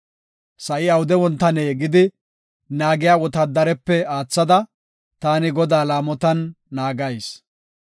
Sa7i awude wontane gidi, naagiya wotaadarepe aathada, taani Godaa laamotan naagayis.